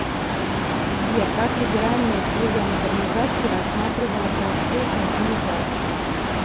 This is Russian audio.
сбер как либеральная теория модернизации рассматривала процесс модернизации